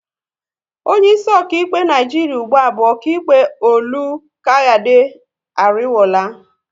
Onye isi okaịkpe Naijiria ụgbụa bu okaịkpe Olukayade Ariwoola